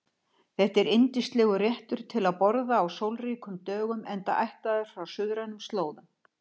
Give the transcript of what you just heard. Þetta er yndislegur réttur til að borða á sólríkum dögum enda ættaður frá suðrænum slóðum.